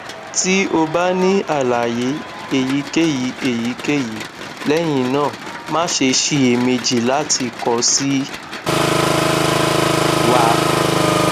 ti o ba ni alaye eyikeyi eyikeyi lẹhinna ma ṣe ṣiyemeji lati kọ si wa